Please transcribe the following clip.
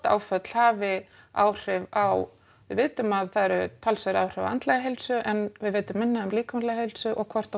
áföll hafi áhrif á við vitum að það eru talsverð áhrif á andlega heilsu en við vitum minna um líkamlega heilsu og hvort